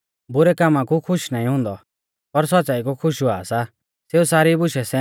बुरै कामा कु खुश नाईं हुंदौ पर सौच़्च़ाई कु खुश हुआ सा